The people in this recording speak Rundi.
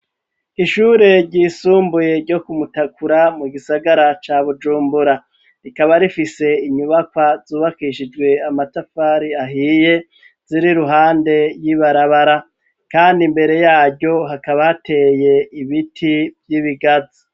Ishure ryisumbuye ryo kumutakura mu gisagara ca bujumbura rikaba rifise inyubakwa zubakishijwe amatafari ahiye ziri ruhande y'ibarabara, kandi imbere yaryo hakabateye ibiti vy'ibigazi.